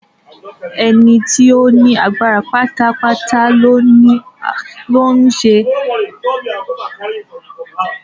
Ẹnìkan tí ó ní agbára pátápátá ló ń ṣàkóso orílẹ̀-èdè ìjọba aláṣẹ.